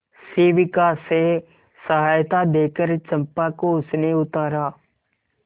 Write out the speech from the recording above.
शिविका से सहायता देकर चंपा को उसने उतारा